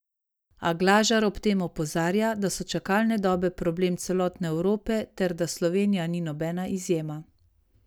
A Glažar ob tem opozarja, da so čakalne dobe problem celotne Evrope ter da Slovenija ni nobena izjema.